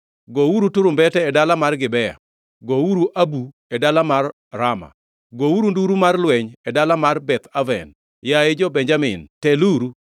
“Gouru turumbete e dala mar Gibea, gouru abu e dala mar Rama. Gouru nduru mar lweny e dala mar Beth Aven; yaye, jo-Benjamin teluru.